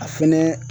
A fɛnɛ